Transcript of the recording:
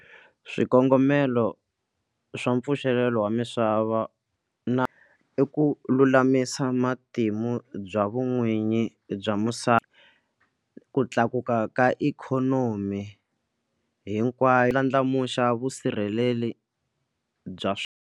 Swikongomelo swa mpfuxelelo wa misava na i ku lulamisa matimu bya vun'winyi bya misava ku tlakuka ka ikhonomi hinkwayo ndlandlamuxa vusirheleri bya.